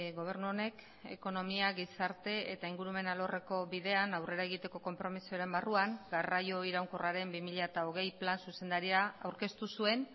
gobernu honek ekonomia gizarte eta ingurumen alorreko bidean aurrera egiteko konpromisoaren barruan garraio iraunkorraren bi mila hogei plan zuzendaria aurkeztu zuen